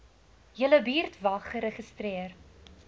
julle buurtwag geregistreer